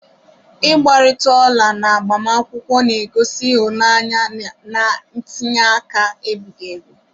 Igbarita ola na agbamakwụkwọ na-egosi ịhụnanya na ntinye aka ebighị ebi..